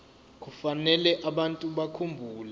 kufanele abantu bakhumbule